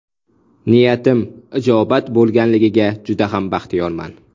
Niyatim ijobat bo‘lganligidan juda ham baxtiyorman.